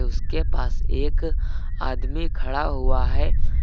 उसके पास एक आदमी खड़ा हुआ है।